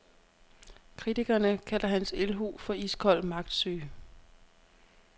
Kritikerne kalder hans ildhu for iskold magtsyge.